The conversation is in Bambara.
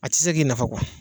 A tɛ se k'i nafa